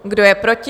Kdo je proti?